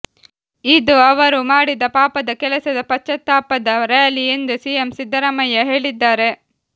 ಇದು ಅವರು ಮಾಡಿದ ಪಾಪದ ಕೆಲಸದ ಪಶ್ಚಾತ್ತಾಪದ ರ್ಯಾಲಿ ಎಂದು ಸಿಎಂ ಸಿದ್ದರಾಮಯ್ಯ ಹೇಳಿದ್ದಾರೆ